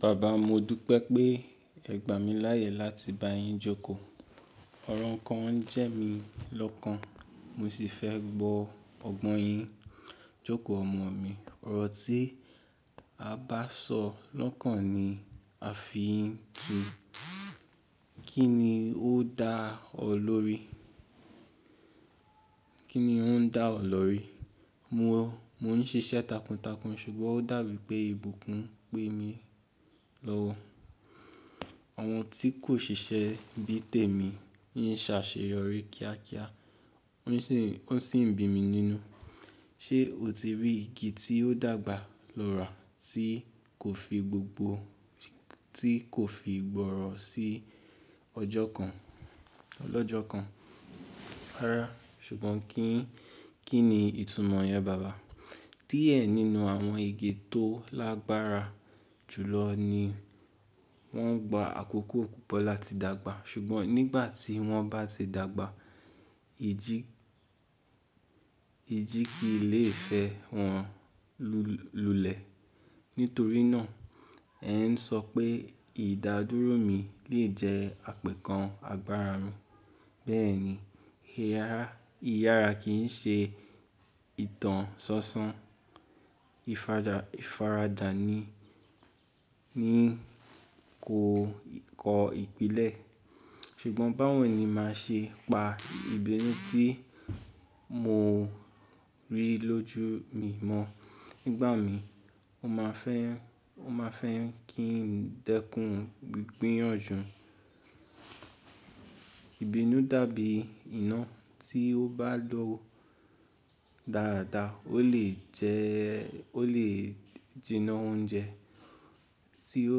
Baba, mo dúpẹ́ pé ẹ gbà mí láyè láti bá yín jókòó. Ọrọ ǹkan ọ ń jẹ́ mi lọ́kan, mo sì fẹ́ gbọ́ ọ̀gbọn yín jókòó ọmọ mi. Ọrọ tí a bá sọ lọ́kan ni a fi ń tun, kini o da Kí ni ó ń dá ọ lórí? Mò ń ṣiṣẹ́ takuntakun ṣùgbọ́n ó dàbí pé ìbùkún ń pè mí lọ́wọ́. Àwọn tí kò ṣiṣẹ́ bí Tèmi yín ṣàṣeyorí ni kíákíá, ọ́ sì ń bí mi nínú. Ṣé o ti rí igi tí ó dàgbà lórà tí kò fi gbọ̀rọ̀ sí ọjọ́ kan? Rárá, ṣùgbọ́n kí ni ìtunúmọ̀ yẹn, baba? Díẹ̀ nínú àwọn igi tó lágbára jùlọ ni wọ́n gba àkókò púpọ̀ láti dàgbà, ṣùgbọ́n nígbà tí wọ́n bá ti dàgbà, ìjì kí ilé ìfẹ́ wọn lulẹ̀. Nítorí náà, ẹ ń sọ pé ìdádúró mi lè jẹ́ àpẹẹkan àgbára mi. Bẹ́ẹ̀ni, iyara kì í ṣe ìtàn sọsọ, ìfaradà ni kò kọ ìpìlẹ̀. Sùgbọ́n báwo ni màá ṣe pa ìbínú tí mo rí lójú mi mọ́? Nígbà mí, ó máa fẹ́ kí ń dẹ́kun igbíyànjú. Ìbínú dàbí iná tí ó bá lọ dáradára, ó lè jinná oúnjẹ tí ó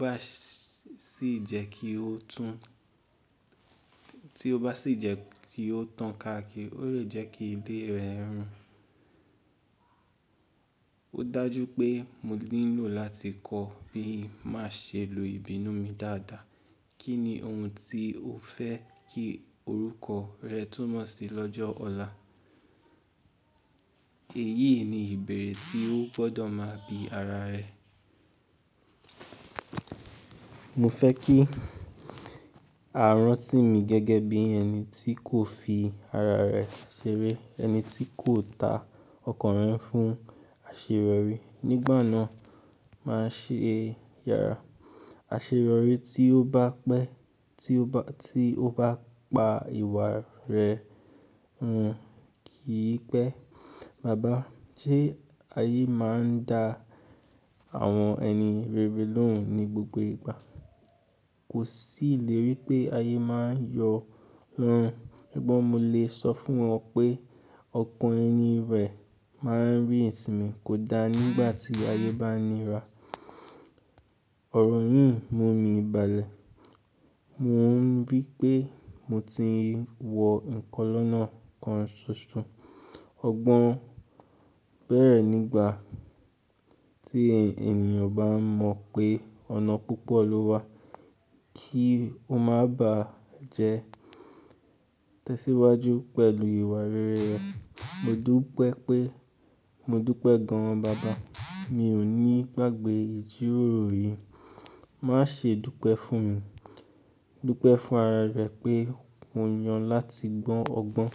bá sì jẹ́ kí ó tàn káàkiri, ó lè jẹ́ kí ilé rẹ rùn. Ó dájú pé mo nílò láti kọ́ bí màá ṣe lo ìbínú mi dáadáa. Kí ni ohun tí o fẹ́ kí orúkọ rẹ túnmọ̀ sí lọ́jọ́ ọ̀la? Èyí ni ìbéèrè tí ó gbọ́dọ̀ máa bi ara rẹ. Mo fẹ́ kí a rán sí mi gẹ́gẹ́ bí ẹni tí kò fi ara rẹ̀ ṣeré, ẹni tí kò ta ọkàn rẹ̀ fún àṣeyọ̀rí. Nígbà náà, màá ṣe yàrá. Àṣerọ̀rí tí ó bá pa ìwà rẹ̀ hun kì í pẹ́. Baba, ṣé ayé máa ń da àwọn ẹni rere lóhùn ní gbogbo ìgbà? Kò sì ilèrí pé ayé máa ń yọ wọn, ṣùgbọ́n mo lè sọ fún ọ pé ọkàn ẹni rẹ̀ máa ń rí Ìsimì kódà nígbà tí ayé bá nira. Ọ̀rọ̀ yìí mú mi balẹ̀. Mo ń rí i pé mo ti wọ ǹkan lọ́nà kan ṣoṣo. Ọgbọ́n bẹ̀rẹ̀ nígbà tí ènìyàn bá mọ̀ pé ọ̀nà púpọ̀ ló wà kí ó máa bá jẹ́ tẹ̀síwájú pẹ̀lú ìwà rere rẹ̀. Mo dúpẹ́ gan, Mi ò ní gbàgbé ìjíròrò yìí. Má ṣe dúpẹ́ fún mi, dúpẹ́ fún ara rẹ pé mo yàn láti gbọ́n ọgbọ́n.